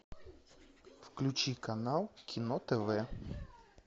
включи канал кино тв